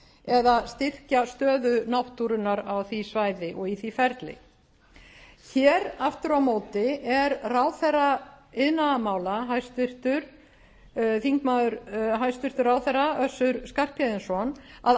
eða styrkja stöðu náttúrunnar á því svæði og í því ferli hér aftur á móti er ráðherra iðnaðarmála hæstvirtur ráðherra össur skarphéðinsson að